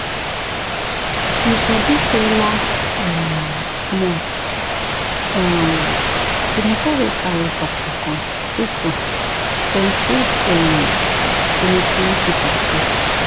you sabi say last um month um the moto wey carry doctor come true true dem treat um plenty people free.